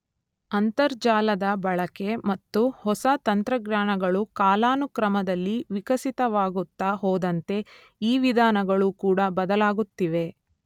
ಅಂತರ್ಜಾಲದ ಬಳಕೆ ಮತ್ತು ಹೊಸ ತಂತ್ರಜ್ಞಾನಗಳು ಕಾಲಾನುಕ್ರಮದಲ್ಲಿ ವಿಕಸಿತವಾಗುತ್ತ ಹೋದಂತೆ ಈ ವಿಧಾನಗಳೂ ಕೂಡ ಬದಲಾಗುತ್ತಿವೆ.